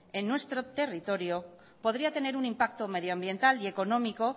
en nuestro territorio podría tener un impacto medioambiental y económico